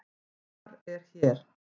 Hvar er hér?